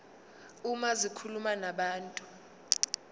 uma zikhuluma nabantu